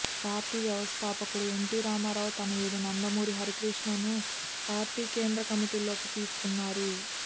party వ్యవస్థాపకుడు NT Ramarao తనయుడు నందమూరి హరికృష్ణను పార్టీ కేంద్ర కమిటీలోకి తీసుకున్నారు